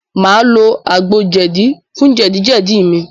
Màá lo àgbo jẹ̀dí fún jẹ̀díjẹ̀dí mi.